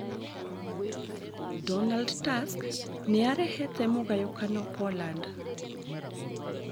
Donald Tusk nĩarehete mũgayũkano Poland